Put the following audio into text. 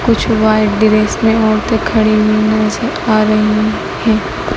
कुछ white dress में औरते खड़ी हुई नजर आ रही है।